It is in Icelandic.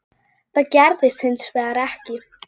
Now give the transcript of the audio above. Það gerðist hins vegar ekki.